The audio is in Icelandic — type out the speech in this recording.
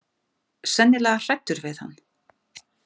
Sennilega hræddur við hann.